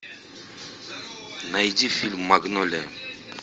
найди фильм магнолия